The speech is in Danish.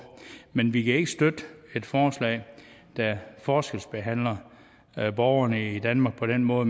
men vi kan ikke støtte et forslag der forskelsbehandler borgerne i danmark på den måde